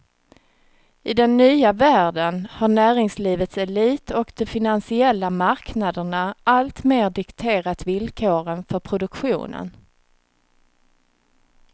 I den nya världen har näringslivets elit och de finansiella marknaderna alltmer dikterat villkoren för produktionen.